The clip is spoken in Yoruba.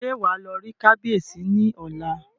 Ṣé wàá lọ rí kábíyèsí ní ọ̀la?